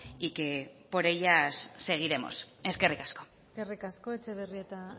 y que por ellas seguiremos eskerrik asko eskerrik asko etxebarrieta